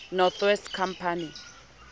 north west company